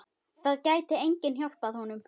Það gæti enginn hjálpað honum.